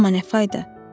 Amma nə fayda?